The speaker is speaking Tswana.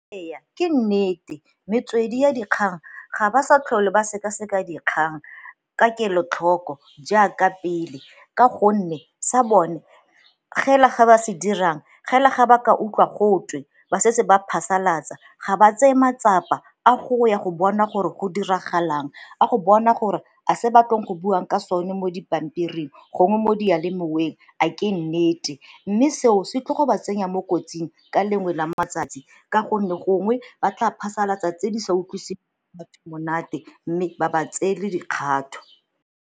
Ee ke nnete, metswedi ya dikgang ga ba sa tlhole ba sekaseka dikgang ka kelotlhoko jaaka pele ka gonne sa bone gela ga ba se dirang gela ga ba ka utlwa gotwe ba setse ba phasalatsa, ga ba tseye matsapa a go ya go bona gore go diragalang a go bona gore a se ba tlong go buang ka sone mo dipampiring gongwe mo dialemoweng a ke nnete mme seo se tlo go ba tsenya mo kotsing ka lengwe la matsatsi ka gonne gongwe ba tla phasalatsa tse di sa utlwiseng monate mme ba ba tseele dikgatho.